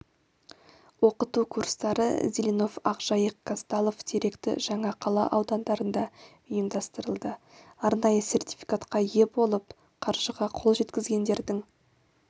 оқыту курстары зеленов ақжайық казталов теректі жаңақала аудандарында ұйымдастырылды арнайы сертификатқа ие болып қаржыға қол жеткізгендердің